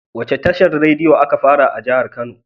Wacce tashar rediyo aka fara yi a jahar kano?